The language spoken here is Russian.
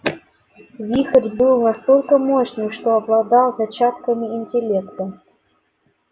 вихрь был настолько мощным что обладал зачатками интеллекта